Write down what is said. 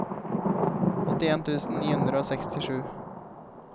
åttien tusen ni hundre og sekstisju